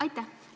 Aitäh!